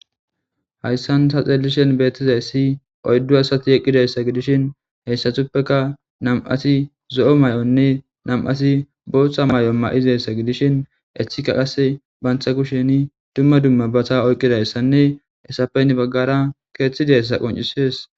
Hayssan ta xeellishen beettizay si oyddu asati eqqidayssa gidishin heyssatuppeka nam7ati zo'o may'onne nam'ati booththa may7o ma7izayssa gidishin ethika qase bantha kusheni dumma dumma bata oyqqidayssanne esapenni baggara keeththidayssa qoncisiyes.